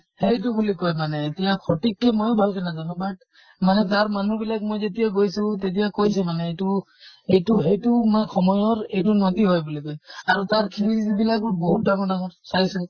সেইটো বুলি কয় মানে এতিয়া সঠিকতো ময়ো ভালকে নাজানো but মানে তাৰ মানুহ বিলাক মই যেতিয়া গৈছো তেতিয়া কৈছে মানে এইটো এইটো সেইটো মা সময়ৰ এইটো নাতি হয় বুলি কয়। আৰু তাৰ বিলাকো বহুত ডাঙৰ ডাঙৰ চাইছো